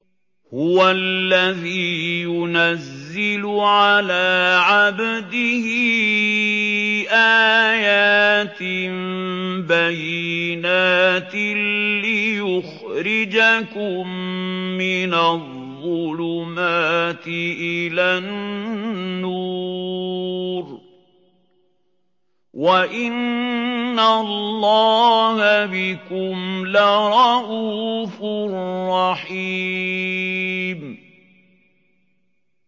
هُوَ الَّذِي يُنَزِّلُ عَلَىٰ عَبْدِهِ آيَاتٍ بَيِّنَاتٍ لِّيُخْرِجَكُم مِّنَ الظُّلُمَاتِ إِلَى النُّورِ ۚ وَإِنَّ اللَّهَ بِكُمْ لَرَءُوفٌ رَّحِيمٌ